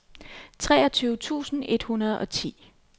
treogtyve tusind et hundrede og ti